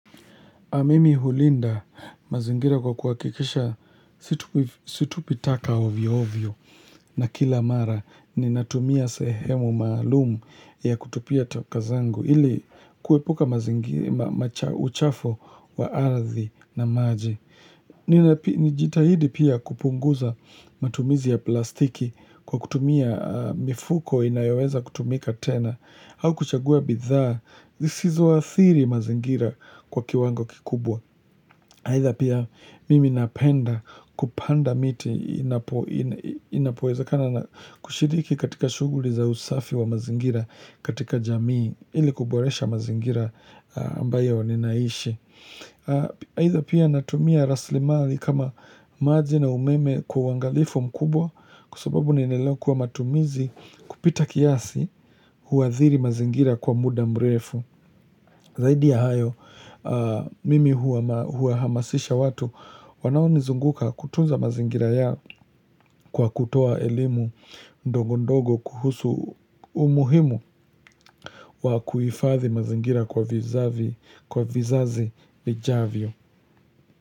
Mimi hulinda mazingira kwa kuhakikisha situpi taka ovyo ovyo na kila mara ninatumia sehemu maalumu ya kutupia taka zangu ili kuepuka uchafu wa ardhi na maji. Nijitahidi pia kupunguza matumizi ya plastiki kwa kutumia mifuko inayoweza kutumika tena au kuchagua bidhaa, zisizoathiri mazingira kwa kiwango kikubwa Haidha pia mimi napenda kupanda miti inapowezakana na kushiriki katika shughuli za usafi wa mazingira katika jamii ili kuboresha mazingira ambayo ninaishi. Haidha pia natumia raslimali kama maji na umeme kwa uangalifu mkubwa Kwa sababu nililelewa kuwa matumizi kupita kiasi huathiri mazingira kwa muda mrefu Zaidi ya hayo mimi huwahamasisha watu wanaonizunguka kutunza mazingira yao kwa kutoa elimu ndogo ndogo kuhusu umuhimu wa kuhifadhi mazingira kwa vizazi vijavyo.